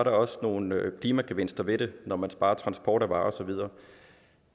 også nogle klimagevinster ved det når man sparer transport af varer